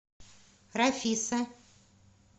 рафиса